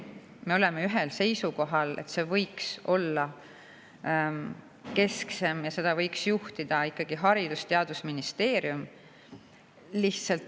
Me oleme ühisel seisukohal, et see võiks kesksemalt ja seda võiks juhtida ikkagi Haridus‑ ja Teadusministeerium.